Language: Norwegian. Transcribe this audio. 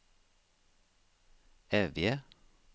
Evje